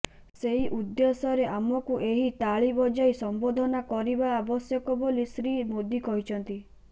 ସେହି ଉଦ୍ଦେଶ୍ୟରେ ଆମକୁ ଏହି ତାଳି ବଜାଇ ସମ୍ବର୍ଦ୍ଧନା କରିବା ଆବଶ୍ୟକ ବୋଲି ଶ୍ରୀ ମୋଦି କହିଛନ୍ତି